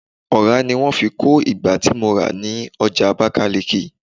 ọra ni wan fi ko ìgbá ti mo ra ni oja abakaliki